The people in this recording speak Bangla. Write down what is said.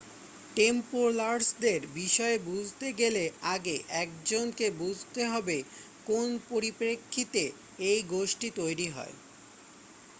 টেম্পলারসদের বিষয়ে বুঝতে গেলে আগে 1 জনকে বুঝতে হবে কোন পরিপ্রেক্ষিতে এই গোষ্ঠী তৈরি হয়